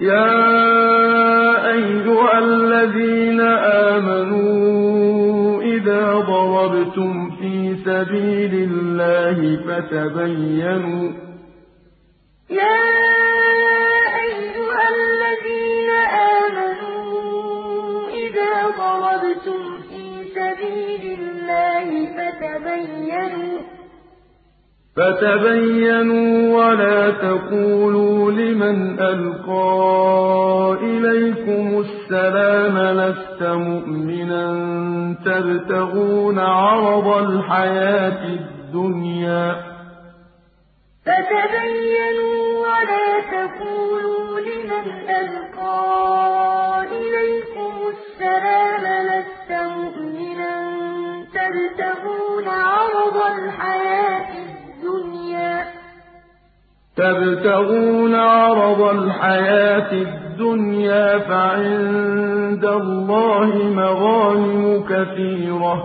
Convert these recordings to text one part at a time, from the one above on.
يَا أَيُّهَا الَّذِينَ آمَنُوا إِذَا ضَرَبْتُمْ فِي سَبِيلِ اللَّهِ فَتَبَيَّنُوا وَلَا تَقُولُوا لِمَنْ أَلْقَىٰ إِلَيْكُمُ السَّلَامَ لَسْتَ مُؤْمِنًا تَبْتَغُونَ عَرَضَ الْحَيَاةِ الدُّنْيَا فَعِندَ اللَّهِ مَغَانِمُ كَثِيرَةٌ ۚ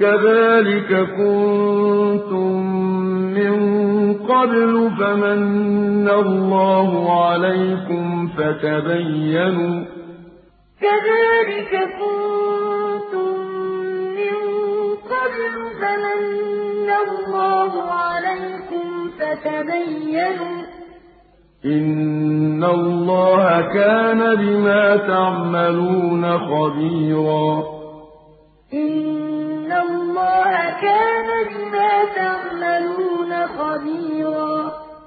كَذَٰلِكَ كُنتُم مِّن قَبْلُ فَمَنَّ اللَّهُ عَلَيْكُمْ فَتَبَيَّنُوا ۚ إِنَّ اللَّهَ كَانَ بِمَا تَعْمَلُونَ خَبِيرًا يَا أَيُّهَا الَّذِينَ آمَنُوا إِذَا ضَرَبْتُمْ فِي سَبِيلِ اللَّهِ فَتَبَيَّنُوا وَلَا تَقُولُوا لِمَنْ أَلْقَىٰ إِلَيْكُمُ السَّلَامَ لَسْتَ مُؤْمِنًا تَبْتَغُونَ عَرَضَ الْحَيَاةِ الدُّنْيَا فَعِندَ اللَّهِ مَغَانِمُ كَثِيرَةٌ ۚ كَذَٰلِكَ كُنتُم مِّن قَبْلُ فَمَنَّ اللَّهُ عَلَيْكُمْ فَتَبَيَّنُوا ۚ إِنَّ اللَّهَ كَانَ بِمَا تَعْمَلُونَ خَبِيرًا